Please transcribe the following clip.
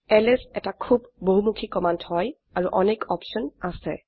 LS এটি খুব বহমুখি কমান্ড হয় আৰু অনেক অপছন আছে